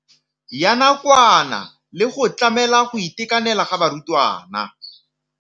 Ya nakwana le go tlamela go itekanela ga barutwana.